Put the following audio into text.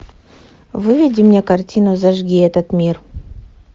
выведи мне картину зажги этот мир